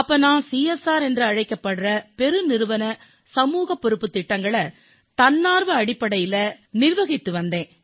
அப்போது நான் சிஎஸ்ஆர் என்று அழைக்கப்படும் பெருநிறுவன சமூகப் பொறுப்புத் திட்டங்களைத் தன்னார்வ அடிப்படையில் நிர்வகித்து வந்தேன்